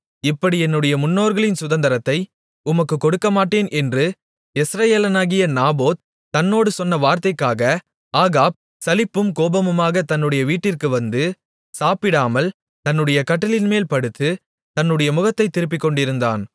இப்படி என்னுடைய முன்னோர்களின் சுதந்திரத்தை உமக்குக் கொடுக்கமாட்டேன் என்று யெஸ்ரயேலனாகிய நாபோத் தன்னோடு சொன்ன வார்த்தைக்காக ஆகாப் சலிப்பும் கோபமுமாகத் தன்னுடைய வீட்டிற்கு வந்து சாப்பிட்டாமல் தன்னுடைய கட்டிலின்மேல் படுத்து தன்னுடைய முகத்தைத் திருப்பிக் கொண்டிருந்தான்